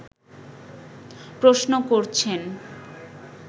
প্রশ্ন করছেন